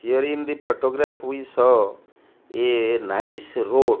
here in the photograph we saw a nice road --